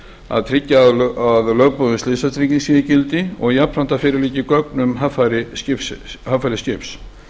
að tryggja að lögboðin slysatrygging sé í gildi og jafnframt að fyrir liggi gögn um haffæri skips